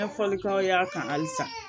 N ye fɔlikɛ tɔw y'a kan halisa